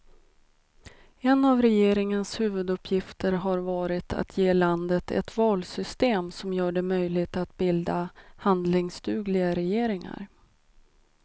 En av regeringens huvuduppgifter har varit att ge landet ett valsystem som gör det möjligt att bilda handlingsdugliga regeringar.